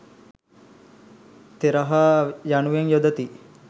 තෙරහ යනුවෙන් යොදති.